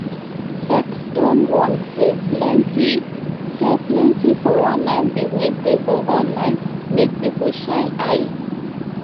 sec don warn say plenty say plenty 419 business dey for online make people shine eye